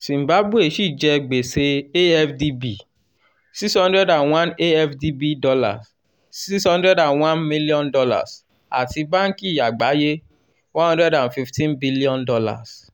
zimbabwe ṣì jẹ gbèsè afdb six hundred and one afdb dollars six hundred and one million dollars àti banki àgbáyé one hundred and fifteen billion dollars